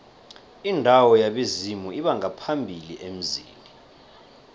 indawo yabezimu lbongaphambili emzini